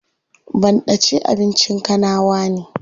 Banɗace abincin kanawa ne.